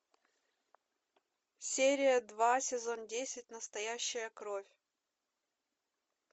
серия два сезон десять настоящая кровь